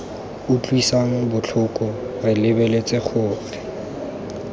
utlwisang botlhoko re lebeletse gore